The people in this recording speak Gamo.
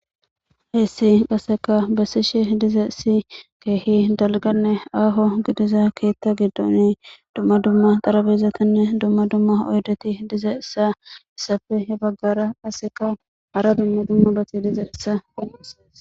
Hayis qaseka besishe dizayis kehi daligane aho ketha giidon duma duma xariphezatinee duma duma oyideti ya bagara qaseka duma duma bati dizaysa qonicises